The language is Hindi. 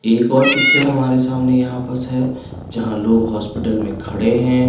एक और पिक्चर हमारे सामने यहाँ है जहा लोग हॉस्पिटल में खड़े है।